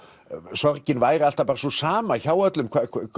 sorgin væri alltaf sú sama hjá öllum